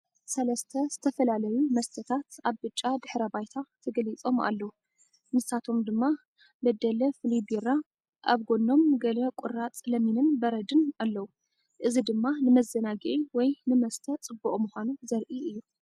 ሰለስተ ዝተፈላለዩ መስተታት ኣብ ብጫ ድሕረ ባይታ ተገሊጾም ኣለዉ። ንሳቶም ድማ በደለ ፍሉይ ቢራ፡ ኣብ ጎኖም ገለ ቁራጽ ለሚንን በረድን ኣለዉ። እዚ ድማ ንመዘናግዒ ወይ ንመስተ ጽቡቕ ምዃኑ ዘርኢ እዩ።